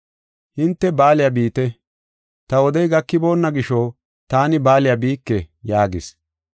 Hinte baaliya biite; ta wodey gakiboonna gisho taani baaliya biike” yaagis.